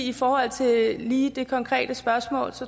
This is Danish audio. i forhold til lige det konkrete spørgsmål